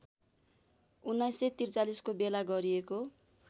१९४३ को बेला गरिएको